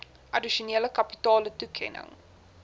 addisionele kapitale toekenning